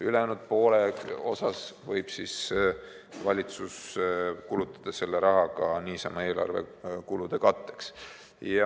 Ülejäänud poole võib valitsus kulutada ka niisama eelarve kulude katteks.